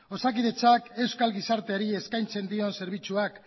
osakidetzak euskal gizarteari eskaintzen dion zerbitzuak